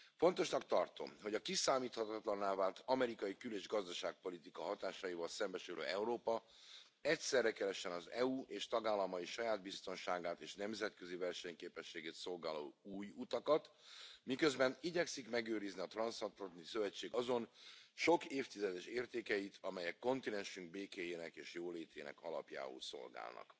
Fontosnak tartom, hogy a kiszámíthatatlanná vált amerikai kül és gazdaságpolitika hatásaival szembesülő Európa egyszerre keressen az EU és tagállamai saját biztonságát és nemzetközi versenyképességét szolgáló új utakat, miközben igyekszik megőrizni a Transzatlanti Szövetség azon sok évtizedes értékeit, amelyek kontinensünk békéjének és jólétének alapjául szolgálnak.